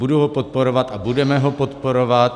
Budu ho podporovat a budeme ho podporovat.